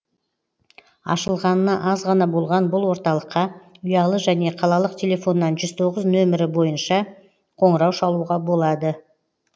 ашылғанына аз ғана болған бұл орталыққа ұялы және қалалық телефоннан жүз тоғыз нөмері бойынша қоңырау шалуға болады